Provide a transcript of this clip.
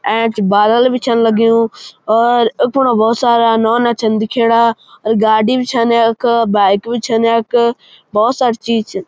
ऐंच बादल भी छन लग्युं और अ थोडा भौत सारा नौना छन दिखेणा और गाडी भी छन यख बाइक भी छन यक भौत सारी चीज छिन।